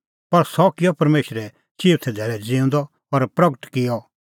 पर सह किअ परमेशरै चिऊथै धैल़ै ज़िऊंदअ और प्रगट बी किअ